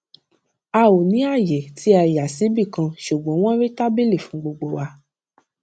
a ò ní àyè tí a yà síbì kan ṣùgbọn wón rí tábìlì fún gbogbo wa